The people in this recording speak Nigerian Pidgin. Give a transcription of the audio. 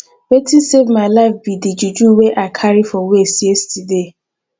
wetin save my life be the juju wey i carry for waist yesterday